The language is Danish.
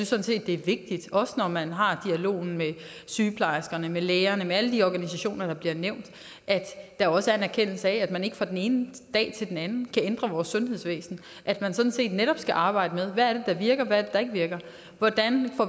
sådan set det er vigtigt også når man har dialogen med sygeplejerskerne med lægerne med alle de organisationer der bliver nævnt at der også er en erkendelse af at man ikke fra den ene dag til den anden kan ændre vores sundhedsvæsen at man sådan set netop også skal arbejde med hvad det er der virker og hvad der ikke virker hvordan